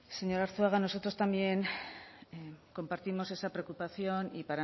señor arzuaga nosotros también compartimos esa preocupación y